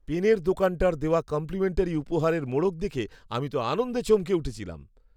পেনের দোকানটার দেওয়া কম্প্লিমেন্টারি উপহারের মোড়ক দেখে আমি তো আনন্দে চমকে উঠেছিলাম!